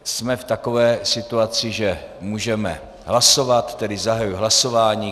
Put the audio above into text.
Jsme v takové situaci, že můžeme hlasovat, takže zahajuji hlasování.